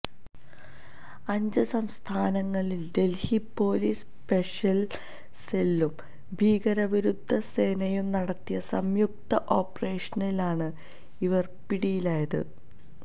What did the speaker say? അഞ്ച് സംസ്ഥാനങ്ങളില് Delhi police special സെല്ലും ഭീകരവിരുദ്ധ സേനയും നടത്തിയ സംയുക്ത ഓപറേഷനിലാണ് ഇവര് പിടിയിലായത്